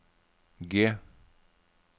G